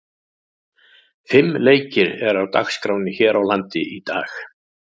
Fimm leikir eru á dagskránni hér á landi í dag.